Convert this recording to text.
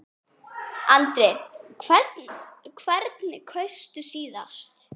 Andri: Hvern kaustu síðast?